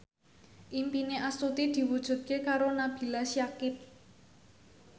impine Astuti diwujudke karo Nabila Syakieb